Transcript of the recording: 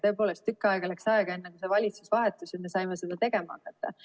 Tõepoolest, tükk aega läks aega, enne kui valitsus vahetus ja me saime seda tegema hakata.